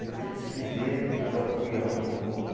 Eu já desfiz dele, depois já fui e arrumei de novo.